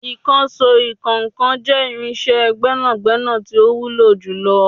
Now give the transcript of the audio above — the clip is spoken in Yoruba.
Ìkànsó ìkọ́ńkan jẹ́ irinsé gbẹ́nàgbẹ́nà tí ó wúlò jù lọ